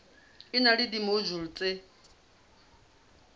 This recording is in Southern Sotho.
e na le dimojule tse